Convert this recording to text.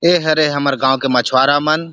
ए हरे हमर गांव के मछवारा मन --